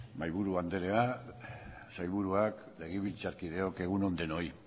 mahaiburu anderea sailburuak legebiltzarkideok egun on denoi